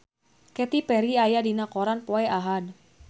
Katy Perry aya dina koran poe Ahad